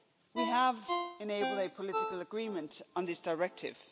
We have enabled a political agreement on this directive.